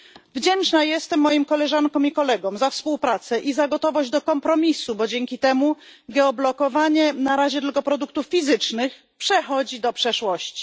Wdzięczna jestem moim koleżankom i kolegom za współpracę i za gotowość do kompromisu, bo dzięki temu geoblokowanie na razie tylko produktów fizycznych przechodzi do przeszłości.